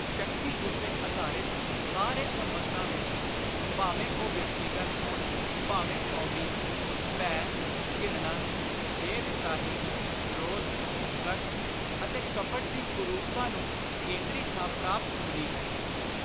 ਸ਼ਕਤੀ ਉੱਤੇ ਆਧਾਰਿਤ ਸਾਰੇ ਸੰਬੰਧਾਂ ਵਿਚ (ਭਾਵੇਂ ਉਹ ਵਿਅਗਤੀਗਤ ਹੋਣ ਭਾਵੇਂ ਕੌਮੀ) ਭੈ, ਘਿਰਣਾ, ਬੇ-ਵਿਸਾਹੀ, ਕ੍ਰੋਧ, ਕਸ਼ਟ ਅਤੇ ਕਪਟ ਦੀ ਕੁਰੂਪਤਾ ਨੂੰ ਕੇਂਦਰੀ ਥਾਂ ਪ੍ਰਾਪਤ ਹੁੰਦੀ ਹੈ।